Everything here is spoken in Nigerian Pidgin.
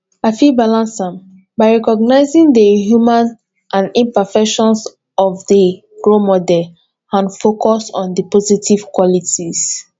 i fit balance am by recognizing di humanity and imperfections of di role model and focus on di positive qualities